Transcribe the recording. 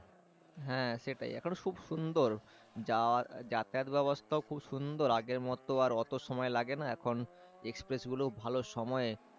হ্যাঁ সেটাই এখন খুব সুন্দর যাওয়ার যাতায়াত ব্যবস্থাও খুব সুন্দর আগের মত আর অত সময় লাগে না এখন এক্সপ্রেস গুলোও ভালো সময়ে